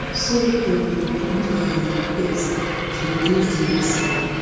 so dem dey do dia um best to reduce di risks